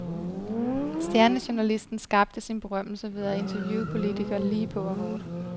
Stjernejournalisten skabte sin berømmelse ved at interviewe politikere, lige på og hårdt.